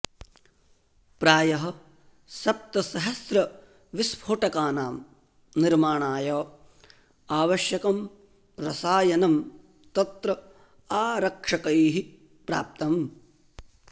प्रायः सप्तसहस्रविस्फोटकानां निर्माणाय आवश्यकं रसायनं तत्र आरक्षकैः प्राप्तम्